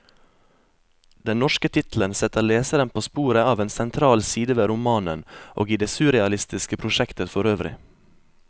Den norske tittelen setter leseren på sporet av en sentral side ved romanen, og i det surrealistiske prosjektet forøvrig.